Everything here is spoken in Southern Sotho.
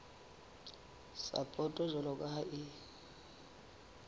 sapoto jwalo ka ha e